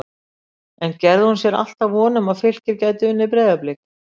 En gerði hún sér alltaf von um að Fylkir gæti unnið Breiðablik?